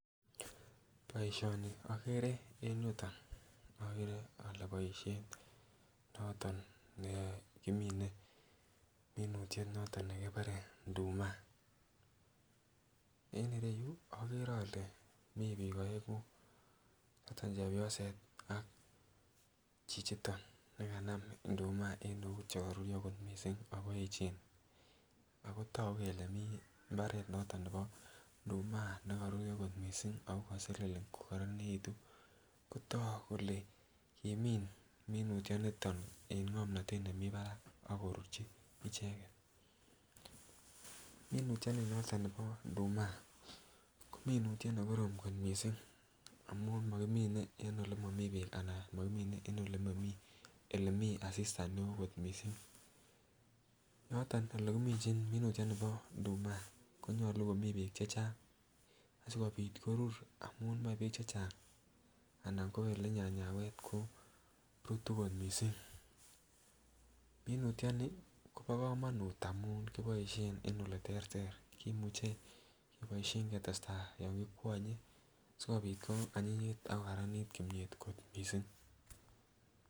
Boisioni agere en yutok agere ale boisiet noto nekimine minutiet noto nebore nduma. En ireyu agere ale mi biik aengu, noto chepyoset ak chichito ne kanam nduma en eut chekarurio kot mising ago eechen. Ago tagu kole mi mbaret noto nebo nduma nekaruria kot mising ago kaselelen kokararanitu kotak kole imin minutyonito eng ngomnatet nemi barak ak korurchi icheget. Minutionito bo induma ko minutiet ne korom kot mising amun makimine eng olemami beek ago makimine en olemi asista neo kot mising. Noto olekiminjin minutyonibo nduma konyalu komi beek che chang sigopit korur amun moe beek che chang anan ko olenyanyawet korutu kot mising. Minutioni kobo kamanut amun kiboisien en oleterter. Kimuche keboisien ketesta yon kikwanye sigopit koanyinyit ak kokararanit kimyet kot mising.